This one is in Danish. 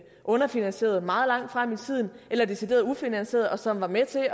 underfinansierede meget langt frem i tiden eller decideret ufinansierede og som var med til at